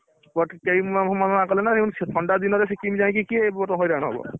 But କେହିମାନେ ମନାକଲେ ନା ଥଣ୍ଡାଦିନରେ ସିକିମି ଯାଇକି କିଏ ବଡ଼ ହଇରାଣ ହବ?